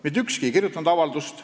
" Mitte ükski ei kirjutanud seda avaldust.